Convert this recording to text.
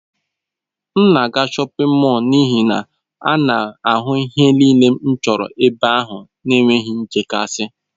M na-aga shọpin mọll n'ihi na a na-ahụ ihe niile m chọrọ n'ebe ahụ n'enweghị nchekasị.